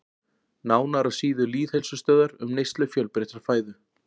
Nánar á síðu Lýðheilsustöðvar um neyslu fjölbreyttrar fæðu.